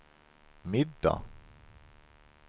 middag